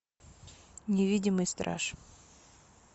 невидимый страж